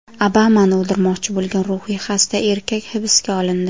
Obamani o‘ldirmoqchi bo‘lgan ruhiy xasta erkak hibsga olindi.